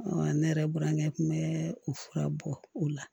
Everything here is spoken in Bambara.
ne yɛrɛ burankɛ tun bɛ o fura bɔ o la